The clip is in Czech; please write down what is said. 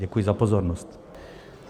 Děkuji za pozornost.